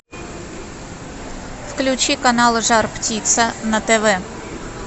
включи канал жар птица на тв